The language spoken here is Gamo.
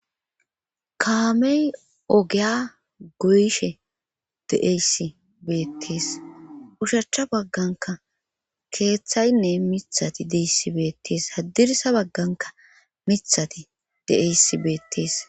kaamey ogeya goyshe deeyssi beettees ushachcha bagganka keeththaynne mithati deyssi beettees haddirsa bagganka mithati de7eysi beettees